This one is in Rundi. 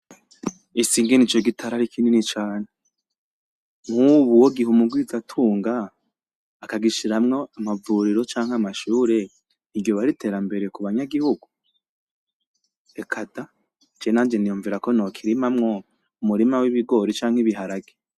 Ese ingene ico gitara ari kinini cane, nkubu uwogiha umugwizatunga akagishiramwo amavuriro canke amashuri nti ryoba ari iterambere kuba nyagihugu ? reka da je nanje niyumvira ko nokirima mwo umurima w'ibigori canke ibiharage.